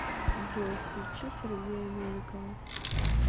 джой включи сергея новикова